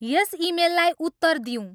यस इमेललाई उत्तर दिऊँ